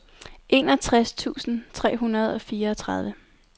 enogtres tusind tre hundrede og fireogtredive